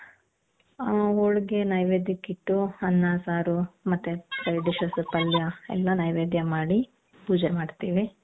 ಆ ಹೋಳಿಗೆ ನೈವೇದ್ಯಕ್ಕೆ ಇಟ್ಟು ಅನ್ನ ಸಾರು ಮತ್ತೆ side dishes ಪಲ್ಯ ಎಲ್ಲಾ ನೈವೇದ್ಯ ಮಾಡಿ ಪೂಜೆ ಮಾಡ್ತೀವಿ.